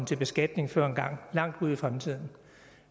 til beskatning før engang langt ude i fremtiden